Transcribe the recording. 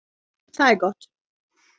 Það er gott.